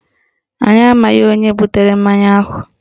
Anyị amaghị onye butere mmanya ahụ